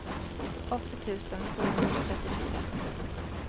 åttio tusen sjuhundratrettiofyra